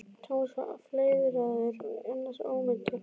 Thomas var fleiðraður en annars ómeiddur.